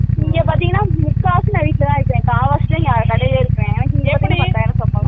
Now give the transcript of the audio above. இங்க பாத்திங்கனா முக்காவாசி நன் வீட்டுலதா இருக்கேன் கால்வாசிதா நா கடைலயே இருப்பேன்